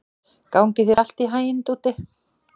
Gangi þér allt í haginn, Dúddi.